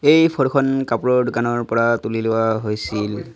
এই ফটো খন কাপোৰৰ দোকানৰ পৰা তুলি লোৱা হৈছিল।